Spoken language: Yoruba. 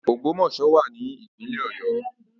Ogbomoso wa ni ipinle Oyo